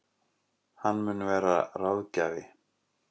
Hann mun vera ráðgjafi